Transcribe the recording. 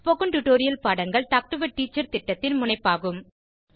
spoken tutorial பாடங்கள் talk to a teacher திட்டத்தின் முனைப்பாகும்